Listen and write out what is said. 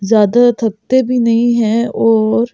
ज़्यादा थक ते भी नहीं हैं और --